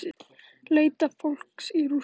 Leita fólks í rústum